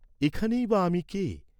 এখানেই বা আমি কে?